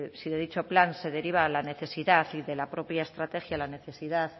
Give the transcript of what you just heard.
si de dicho plan se deriva la necesidad y de la propia estrategia la necesidad